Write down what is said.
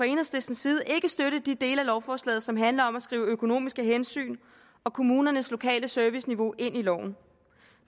enhedslistens side ikke støtte de dele af lovforslaget som handler om at skrive økonomiske hensyn og kommunernes lokale serviceniveau ind i loven